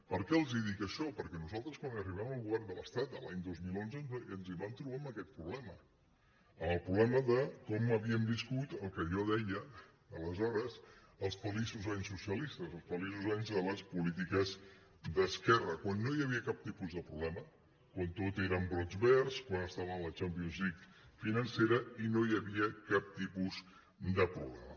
per què els dic això perquè nosaltres quan arribem al govern de l’estat l’any dos mil onze ens vam trobar amb aquest problema amb el problema de com havíem viscut el que jo en deia aleshores els feliços anys socialistes els feliços anys de les polítiques d’esquerra quan no hi havia cap tipus de problema quan tot eren brots verds quan estàvem a la champions league financera i no hi havia cap tipus de problema